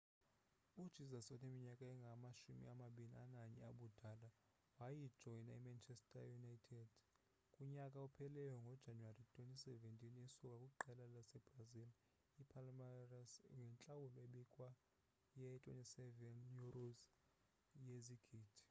ujesus oneminyaka engama-21 ubudala wajoyina imanchester city kunyaka ophelileyo ngojanuwari 2017 esuka kwiqela lasebrazil ipalmeiras ngentlawulo ebikiweyo ye-£ 27 yezigidi